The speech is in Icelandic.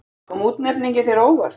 Kom útnefningin þér á óvart?